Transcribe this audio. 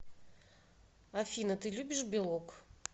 афина ты любишь белок